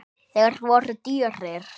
Þeir voru dýrir.